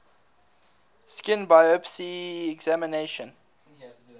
skin biopsy examination